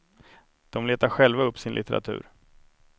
De letar själva upp sin litteratur.